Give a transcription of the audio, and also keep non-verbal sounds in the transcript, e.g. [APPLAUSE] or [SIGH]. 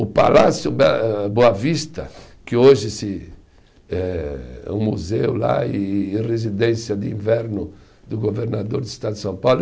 O Palácio [UNINTELLIGIBLE] Boa Vista, que hoje se, é um museu lá e residência de inverno do governador do estado de São Paulo.